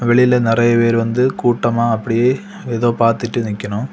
வெளில நறைய பேர் வந்து கூட்டமா அப்படியே ஏதோ பாத்துட்டு நிக்கணும்.